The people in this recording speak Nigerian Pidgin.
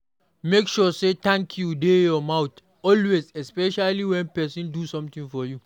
Make sure say thank you de your mouth always especially when persin do something for you